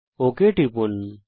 okay টিপুন